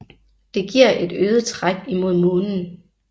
Det giver et øget træk imod månen